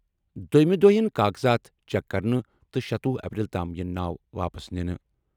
دوٚیمِس دۄہ یِن کاغذات چیک کرنہٕ تہٕ شتۄہُ اپریل تام یِن ناو واپس نِنہٕ۔